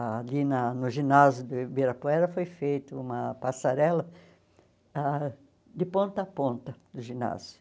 Ali na no ginásio do Ibirapuera foi feita uma passarela ah de ponta a ponta do ginásio.